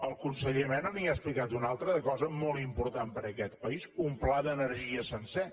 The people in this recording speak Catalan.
el conseller mena li n’ha explicat una altra de cosa molt important per a aquest país un pla d’energia sencer